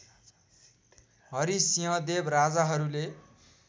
हरिसिंहदेव राजाहरूले